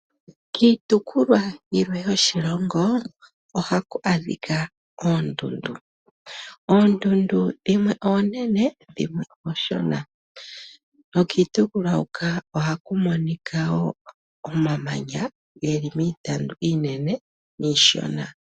Kiitukukwa yilwe yoshilongo ohaku adhika oondundu. Oondundu dhimwe oonene dhimwe ooshona nokiitukukwa hoka ohaku monika omamanya ge li miitandu iinene niishona.